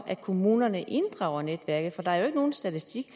at kommunerne inddrager netværket for der er jo ikke nogen statistikker